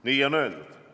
Nii on öeldud.